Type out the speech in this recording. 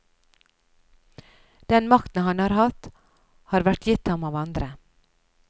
Den makten han har hatt, har vært gitt ham av andre.